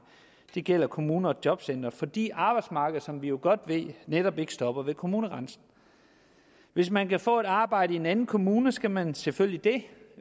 det gælder kommuner og jobcentre fordi arbejdsmarkedet som vi jo godt ved netop ikke stopper ved kommunegrænsen hvis man kan få et arbejde i en anden kommune skal man selvfølgelig